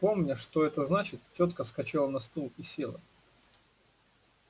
помня что это значит тётка вскочила на стул и села